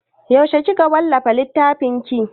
Yaushe kika wallafa littfin ki?